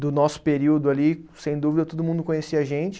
Do nosso período ali, sem dúvida, todo mundo conhecia a gente.